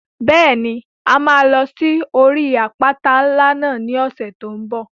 Bẹ́ẹ̀ni, a máa lọ sí orí àpáta ńlá náà ní ọ̀sẹ̀ tó n bọ̀